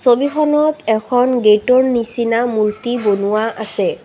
ছবিখনত এখন গেটৰ নিচিনা মূৰ্তি বনোৱা আছে।